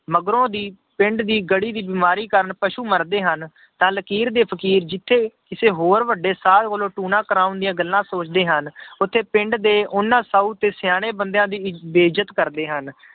ਮਗਰੋਂ ਦੀ ਪਿੰਡ ਦੀ ਗੜ੍ਹੀ ਦੀ ਬਿਮਾਰੀ ਕਾਰਨ ਪਸੂ ਮਰਦੇ ਹਨ ਤਾਂ ਲਕੀਰ ਦੇ ਫ਼ਕੀਰ ਜਿੱਥੇ ਕਿਸੇ ਹੋਰ ਵੱਡੇ ਸਾਧ ਕੋਲੋਂ ਟੂਣਾ ਕਰਵਾਉਣ ਦੀਆਂ ਗੱਲਾਂ ਸੋਚਦੇ ਹਨ ਉੱਥੇ ਪਿੰਡ ਦੇ ਉਹਨਾਂ ਸਾਊ ਤੇ ਸਿਆਣੇ ਬੰਦਿਆਂ ਦੀ ਬੇਇਜਤ ਕਰਦੇ ਹਨ।